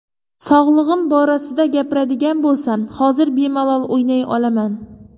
Sog‘lig‘im borasida gapiradigan bo‘lsam, hozir bemalol o‘ynay olaman.